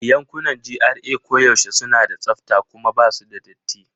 Yankunan GRA koyaushe suna da tsafta kuma ba su da datti.